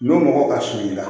Dɔ mɔgɔ ka surun i la